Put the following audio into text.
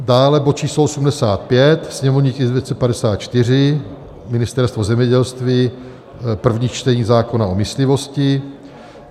Dále bod číslo 85, sněmovní tisk 254, Ministerstvo zemědělství, první čtení zákona o myslivosti.